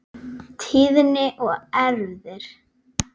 Tíðni og erfðir